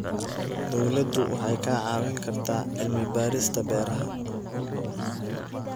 Dawladdu waxay ka caawin kartaa cilmi-baarista beeraha.